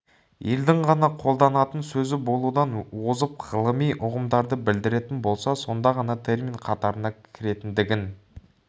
елдің ғана қолданатын сөзі болудан озып ғылыми ұғымдарды білдіретін болса сонда ғана термин қатарына кіретіндігін